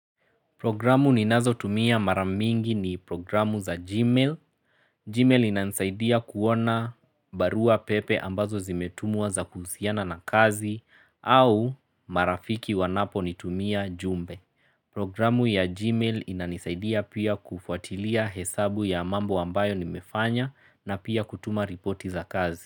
Programu ninazotumia mara mingi ni programu za gmail. Gmail inanisaidia kuona barua pepe ambazo zimetumwa za kuhusiana na kazi au marafiki wanaponitumia jumbe. Programu ya gmail inanisaidia pia kufuatilia hesabu ya mambo ambayo nimefanya na pia kutuma ripoti za kazi.